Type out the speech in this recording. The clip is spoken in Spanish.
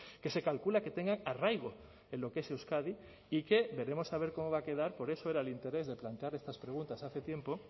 que se calcula que tengan arraigo en lo que es euskadi y que debemos saber cómo va a quedar por eso era el interés de plantear estas preguntas hace tiempo